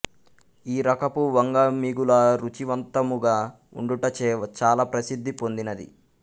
ఈ రకపు వంగ మిగుల రుచివంతముగా ఉండుటచే చాలా ప్రసిద్ధి పొందినది